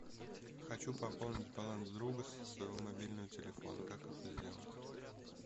хочу пополнить баланс друга со своего мобильного телефона как это сделать